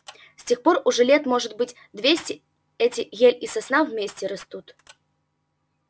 с тех пор уже лет может быть двести эти ель и сосна вместе растут